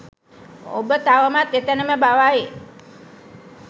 ඔබ තවමත් එතැනම බවයි.